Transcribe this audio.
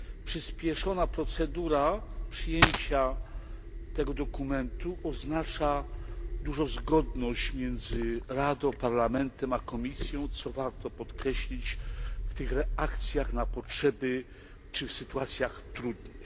Przyspieszona procedura przyjęcia tego dokumentu oznacza dużą zgodność między Radą, Parlamentem a Komisją, co warto podkreślić w tych reakcjach na potrzeby czy w sytuacjach trudnych.